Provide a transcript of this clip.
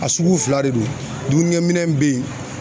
A sugu fila de don, dumunikɛminɛn be yen